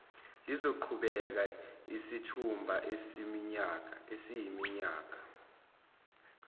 luzoqhubeka isithuba esiyiminyakana